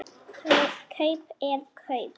Kaup er kaup.